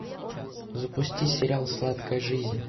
запусти сериал сладкая жизнь